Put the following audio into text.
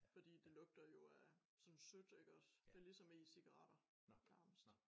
Fordi det lugter jo af sådan sødt iggås det ligesom e-cigaretter nærmest